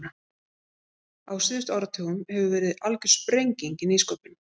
Á síðustu áratugum hefur verið algjör sprenging í nýsköpun.